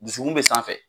Dusukun bɛ sanfɛ